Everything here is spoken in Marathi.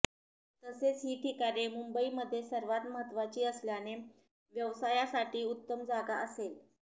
तसेच ही ठिकाणे मुंबईमध्ये सर्वात महत्त्वाची असल्याने व्यवसायासाठी उत्तम जागा असेल